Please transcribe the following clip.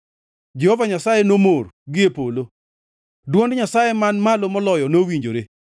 Jehova Nyasaye nomor gie polo; dwond Nyasaye Man Malo Moloyo nowinjore.